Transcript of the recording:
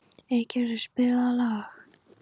Eygerður, spilaðu lag.